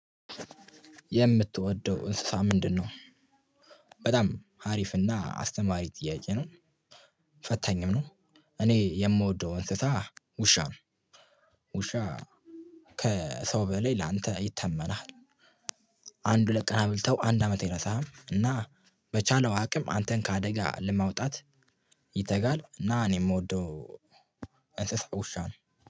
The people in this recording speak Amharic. የምትወደው እንስሳ ምንድነው? በጣም አሪፍና አስተማሪ ጥያቄ ነው። ፈታኝም ነው። እኔ የምወደው እንስሳ ውሻ ነው ውሻ ከሰው በላይ ላንተ ይታመናል። አንድ ሁለት ቀን አምልተው አንድ አመት አደረሳህም እና በቻለው አቅም አንተን ከአደጋ ለማውጣት ይተጋል። እና እኔ የምወደው እንስሳ ውሻ ነው።